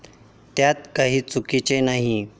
त्यात काही चुकीचे नाही.